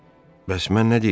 Bəs mən nə deyirdim?